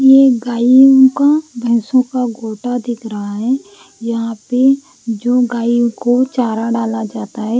ये गायों को भैंसों का गोटा दिख रहा है यहाँ पे जो गायों को चारा डाला जाता है --